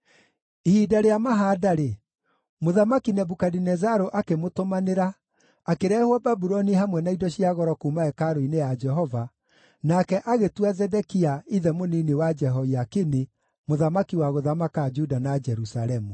Ihinda rĩa mahaanda-rĩ, Mũthamaki Nebukadinezaru akĩmũtũmanĩra, akĩrehwo Babuloni hamwe na indo cia goro kuuma hekarũ-inĩ ya Jehova, nake agĩtua Zedekia, ithe mũnini wa Jehoiakini, mũthamaki wa gũthamaka Juda na Jerusalemu.